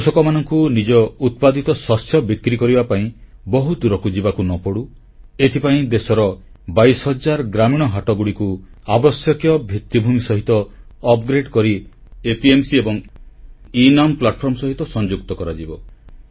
କୃଷକମାନଙ୍କୁ ନିଜ ଉତ୍ପାଦିତ ଶସ୍ୟ ବିକ୍ରି କରିବା ପାଇଁ ବହୁ ଦୂରକୁ ଯିବାକୁ ନ ପଡ଼ୁ ଏଥିପାଇଁ ଦେଶର 22 ହଜାର ଗ୍ରାମୀଣ ହାଟକୁ ଆବଶ୍ୟକ ଭିତ୍ତିଭୂମି ସହିତ ଉନ୍ନତ କରି ପ୍ରାଥମିକ କୃଷି ସମବାୟ ବିପଣନ ସଂସ୍ଥା ଏବଂ ଏନମ୍ ପ୍ଲାଟଫର୍ମ ସହିତ ଯୋଡାଯିବ